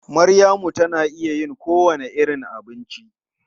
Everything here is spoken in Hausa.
Maryamu tana iya yin kowane irin abinci.